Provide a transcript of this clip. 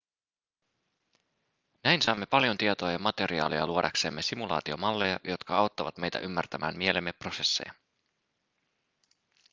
näin saamme paljon tietoa ja materiaalia luodaksemme simulaatiomalleja jotka auttavat meitä ymmärtämään mielemme prosesseja